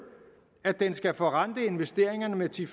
at den skal forrente investeringerne med ti